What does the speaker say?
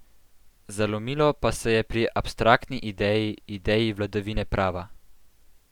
Zalomilo pa se je pri abstraktni ideji, ideji vladavine prava.